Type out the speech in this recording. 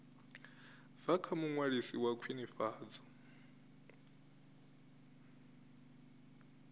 bva kha muṅwalisi wa khwinifhadzo